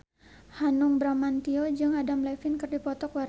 Hanung Bramantyo jeung Adam Levine keur dipoto ku wartawan